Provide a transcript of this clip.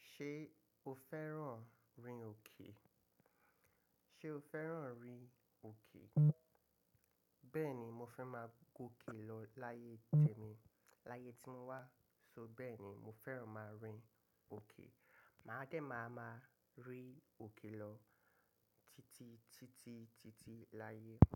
Ṣé o fẹ́ràn rin òkè? Ṣé o fẹ́ràn rin òkè? Bẹ́ẹ̀ni, mo fẹ́ máa gọ̀kè lọ láyé temí, láyé tí mo wà. So bẹ́ẹ̀ni mo fẹ́ràn máa rin òkè. Màá dẹ̀ máa máa rí òkè lọ titi, titi, titi láàyè.